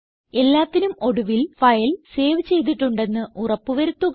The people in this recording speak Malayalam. എല്ലാത്തിനും ഒടുവിൽ ഫയൽ സേവ് ചെയ്തിട്ടുണ്ടെന്ന് ഉറപ്പ് വരുത്തുക